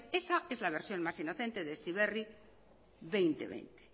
esa es la versión más inocente de heziberri dos mil veinte